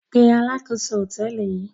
Pe alákòóso hòtẹ́ẹ́lì yìí!